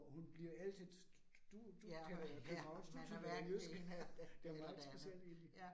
Og hun bliver altid du du taler københavnsk og du taler jysk. Det meget interessant egentligt